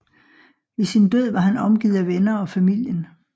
Ved sin død var han omgivet af venner og familien